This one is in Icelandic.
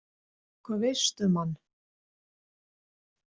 Hvað veistu um hann?